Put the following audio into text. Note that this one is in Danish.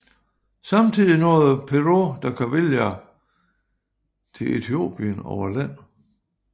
Samtidig nåede Pêro da Covilhã til Ethiopien over land